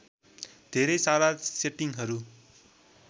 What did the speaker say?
धेरै सारा सेटिङहरू